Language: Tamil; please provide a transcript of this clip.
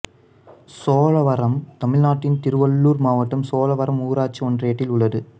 சோழவரம் தமிழ்நாட்டின் திருவள்ளூர் மாவட்டம் சோழவரம் ஊராட்சி ஒன்றியத்தில் உள்ளது